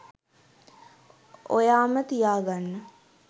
ඔයාම තියාගන්න.